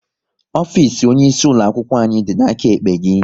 Ofisi onye isi ulo akwụkwọ anyị dị n'aka ekpe gị